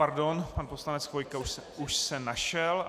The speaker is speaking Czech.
Pardon, pan poslanec Chvojka už se našel.